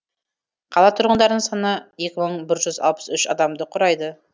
қала тұрғындарының саны екі мың бір жүз алпыс үш адамды құрайды